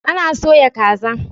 Ana soya kaza.